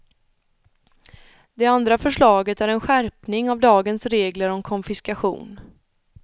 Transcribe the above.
Det andra förslaget är en skärpning av dagens regler om konfiskation.